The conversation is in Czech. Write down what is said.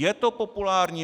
Je to populární.